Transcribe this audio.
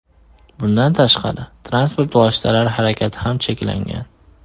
Bundan tashqari, transport vositalari harakati ham cheklangan.